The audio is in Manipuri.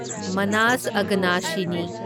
ꯃꯅꯥꯁ ꯑꯦꯒꯅꯁꯤꯅꯤ